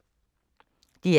DR K